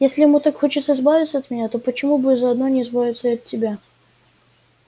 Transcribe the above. если ему так хочется избавиться от меня то почему бы заодно не избавиться и от тебя